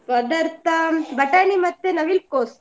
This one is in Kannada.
ಪದಾರ್ಥ ಬಟಾಣಿ ಮತ್ತೆ ನವಿಲುಕೋಸು.